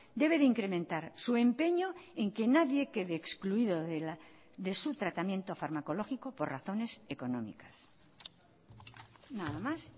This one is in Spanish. debe de incrementar su empeño en que nadie quede excluido de su tratamiento farmacológico por razones económicas nada más